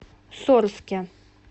сорске